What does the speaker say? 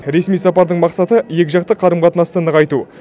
ресми сапардың мақсаты екіжақты қарым қатынасты нығайту